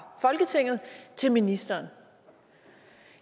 folketinget til ministeren